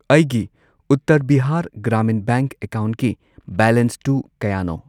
ꯑꯩꯒꯤ ꯎꯠꯇꯔ ꯕꯤꯍꯥꯔ ꯒ꯭ꯔꯥꯃꯤꯟ ꯕꯦꯡꯛ ꯑꯦꯀꯥꯎꯟꯠꯀꯤ ꯕꯦꯂꯦꯟꯁꯇꯨ ꯀꯌꯥꯅꯣ?